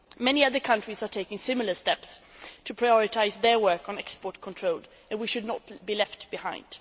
Many other countries are taking similar steps to prioritise their work on export control, and we should not be left behind.